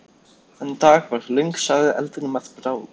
Þennan dag varð löng saga eldinum að bráð.